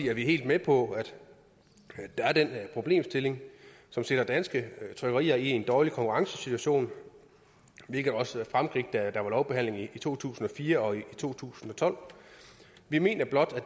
er vi helt med på at der er den problemstilling som sætter danske trykkerier i en dårlig konkurrencesituation hvilket også fremgik da der var lovbehandling i to tusind og fire og to tusind og tolv vi mener blot at